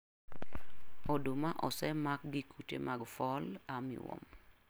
Oduma osemak gi kute mag Fall Armwarm